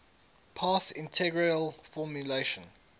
path integral formulation